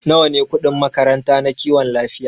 Nawa ne kudin makaranta na kiwon lafiya?